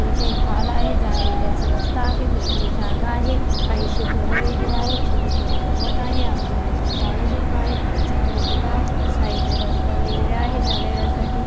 इथे एक हॉल आहे जाण्यायेण्याचा रस्ता आहे मोकळी ज़ागा आहे काहीशी घरं वेगेरे अहते छोटे-छोटे गवत आहे आजूबाजूनी झाडं झुडपं आहेत कचरा वेगेरे आहे साइडनं रस्ता वेगेरे आहेत जाण्या येण्यासाठी --